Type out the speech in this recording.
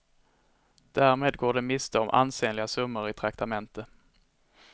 Därmed går de miste om ansenliga summor i traktamente.